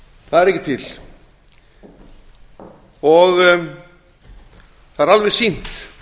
það er ekki til og það er alveg sýnt